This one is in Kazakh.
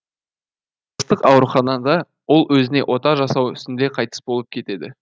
ауруханада ол өзіне ота жасау үстінде қайтыс болып кетеді